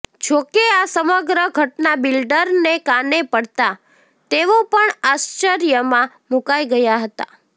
જો કે આ સમગ્ર ઘટના બિલ્ડરને કાને પડતા તેઓ પણ આશ્વર્યમાં મુકાઇ ગયા હતા